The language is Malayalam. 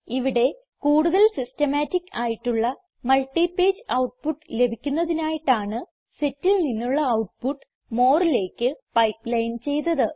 ഇവിടെ കൂടുതൽ സിസ്റ്റമാറ്റിക് ആയിട്ടുള്ള മൾട്ടിപേജ് ഔട്ട്പുട്ട് ലഭിക്കുന്നതിനായിട്ടാണ് setൽ നിന്നുള്ള ഔട്ട്പുട്ട് moreലേക്ക് പൈപ്പ്ലൈൻ ചെയ്തത്